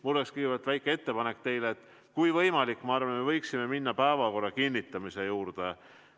Mul oleks teile kõigepealt väike ettepanek: kui võimalik, siis me võiksime minna päevakorra kinnitamise juurde.